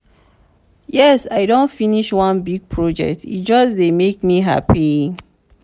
yes i don finish one big project e just dey make me happy.